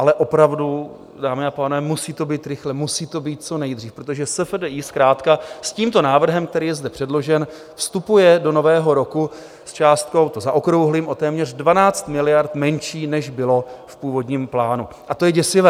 Ale opravdu, dámy a pánové, musí to být rychle, musí to být co nejdřív, protože SFDI zkrátka s tímto návrhem, který je zde předložen, vstupuje do nového roku s částkou, to zaokrouhlím, o téměř 12 miliard menší, než bylo v původním plánu, a to je děsivé.